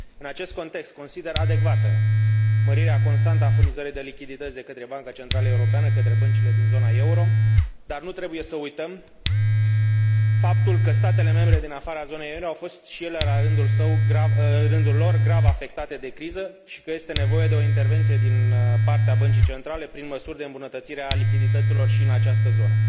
În acest context, consider adecvată mărirea constantă a furnizării de lichidități de către Banca Centrală Europeană către băncile din zona euro, dar nu trebuie să uităm faptul că statele membre din afara zonei euro au fost și ele la rândul lor grav afectate de criză și că este nevoie de o intervenție din partea Băncii Centrale prin măsuri de îmbunătățire a lichidităților și în această zonă.